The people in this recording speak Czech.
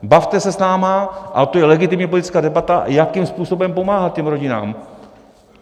Bavte se s námi, ale to je legitimní politická debata, jakým způsobem pomáhat těm rodinám.